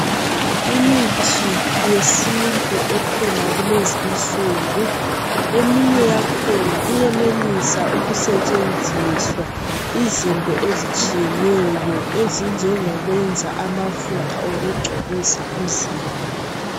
Imithi yesintu ekhona kulezi insuku eminye yakhona iyenelisa ukusetshenziswa izinto ezitshiyeneyo ezinjengokwenza amafutha okungcobisa umzimba.